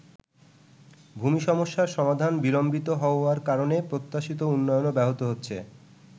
ভূমি সমস্যার সমাধান বিলম্বিত হওয়ার কারণে প্রত্যাশিত উন্নয়নও ব্যাহত হচ্ছে।